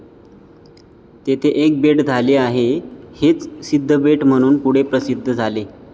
तेथे एक बेट झाले आहे, हेच सिद्धबेट म्हणून पुढे प्रसिद्ध झाले.